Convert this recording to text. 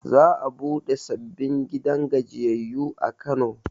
Za a buɗe sababbin gidan gajiyayyu a kano